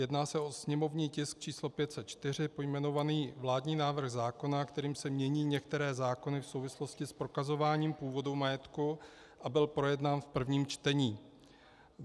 Jedná se o sněmovní tisk č. 504, pojmenovaný vládní návrh zákona, kterým se mění některé zákony v souvislosti s prokazováním původu majetku, a byl projednán v prvním čtení.